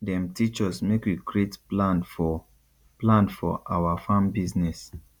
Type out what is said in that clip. dem teach us make we create plan for plan for awa farm business